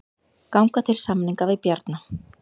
Ganga til samninga við Bjarna